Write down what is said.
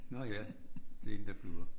Nå ja det en der bliver